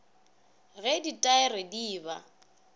ge ditaere di e ba